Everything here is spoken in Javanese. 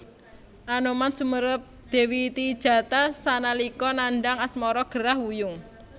Anoman sumerep Dewi Tijatha sanalika nandhang asmara gerah wuyung